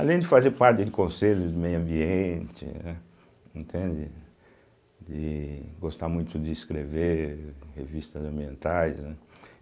Além de fazer parte de conselhos de meio ambiente, né, entende de gostar muito de escrever revistas ambientais, né.